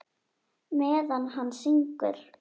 Meðan hann syngur.